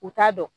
U t'a dɔn